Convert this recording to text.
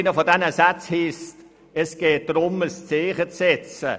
Ein solcher ist: Es geht darum, ein Zeichen zu setzen.